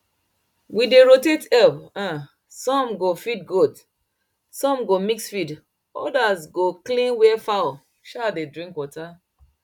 we dey rotate help um some go feed goat some go mix feed others go clean where fowl um dey drink water